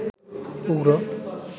উগ্র